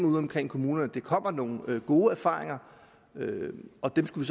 udeomkring i kommunerne kommer nogle gode erfaringer og dem skulle